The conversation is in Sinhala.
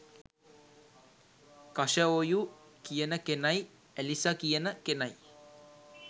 කශඔයු කියන කෙනයි ඇලිසා කියන කෙනයි